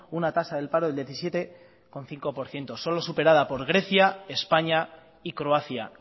una tasa del paro del diecisiete coma cinco por ciento solo superada por grecia españa y croacia